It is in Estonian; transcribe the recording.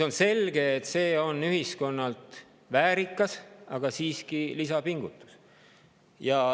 On selge, et see on ühiskonnalt väärikas, aga siiski lisapingutus.